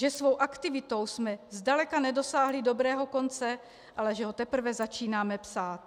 Že svou aktivitou jsme zdaleka nedosáhli dobrého konce, ale že ho teprve začínáme psát.